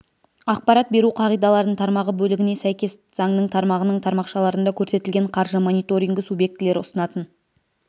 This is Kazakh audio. ақпарат беру қағидаларын тармағы бөлігіне сәйкес заңның тармағының тармақшаларында көрсетілген қаржы мониторингі субъектілері ұсынатын